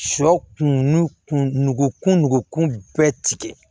Sɔ kun nugu kun nugukun bɛɛ tigɛ